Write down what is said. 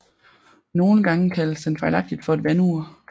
Nogle gange kaldes den fejlagtigt for et vandur